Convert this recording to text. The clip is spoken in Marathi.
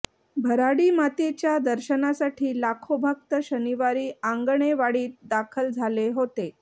भराडीमातेच्या दर्शनासाठी लाखो भक्त शनिवारी आंगणेवाडीत दाखल झाले होते